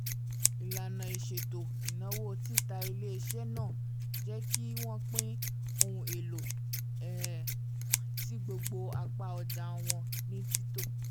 ìlànà ìṣètò ináwó tita ilé-iṣẹ́ náà jẹ́ kí wọ́n pín ohun èlò um sí gbogbo apá ọja wọn ní títọ́